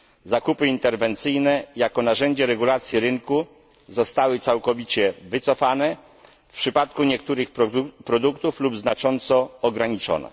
Zakupy interwencyjne jako narzędzie regulacji rynku zostały całkowicie wycofane w przypadku niektórych produktów lub znacząco ograniczone.